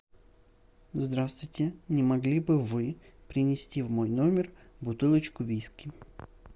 здравствуйте не могли бы вы принести в мой номер бутылочку виски